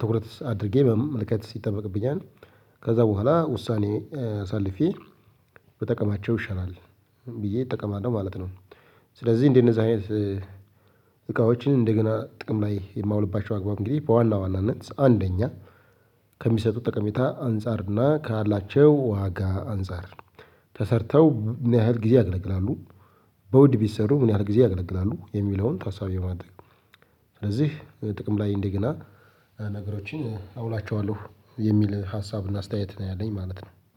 ትኩረት አድርጌ በ መመልከት ይጠበቅብኛል። ከዛ በኋላ ውሳኔ አሳልፌ ብጠቀማቸው ይሻላል ብዬ እጠቀማለሁ ማለት ነው። ስለዚህ እንደነዛ አይነት እቃዎችን እንደገና ጥቅም ላይ የማውልባቸው አግባብ እንግዲህ በዋና ዋናነት አንደኛ ከሚሰጡት ጠቀሜታ አንፃርና ካላቸው ዋጋ አንፃር ተሰርተው ምን ያህል ጊዜ ያገለግላሉ በውድ ቢሰሩ ምን ያህል ጊዜ ያገለግላሉ የሚለውን ታሳቢ በማድረግ ነው። ስለዚህ ጥቅም ላይ እንደገና ነገሮችን አውላቸዋለሁ የሚል ሀሳብና አስተያየት ነው ያለኝ ማለት ነው